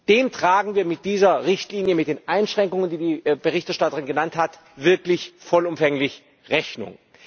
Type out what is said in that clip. Dem tragen wir mit dieser Richtlinie mit den Einschränkungen, die die Berichterstatterin genannt hat wirklich vollumfänglich Rechnung.